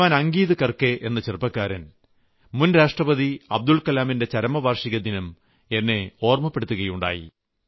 ശ്രീമാൻ അംഗിത് കർക്കെ എന്ന ചെറുപ്പക്കാരൻ മുൻരാഷ്ട്രപതി അബ്ദുൽകലാമിന്റെ ചരമവാർഷികദിനം എന്നെ ഓർമ്മപ്പെടുത്തുകയുണ്ടായി